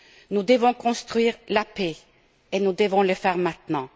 Nous devons construire la paix et nous devons le faire maintenant.